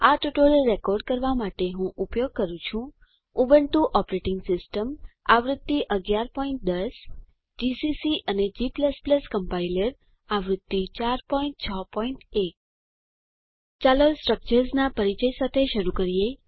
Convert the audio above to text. આ tutorial record કરવા માટે હું ઉપયોગ કરું છું ઉબુન્ટુ ઓપરેટિંગ સિસ્ટમ આવૃત્તિ 1110 જીસીસી અને g કમ્પાઈલર આવૃત્તિ 461 ચાલો સ્ટ્રક્ચર્સ ના પરિચય સાથે શરૂ કરીએ